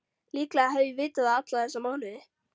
Líklega hef ég vitað það alla þessa mánuði.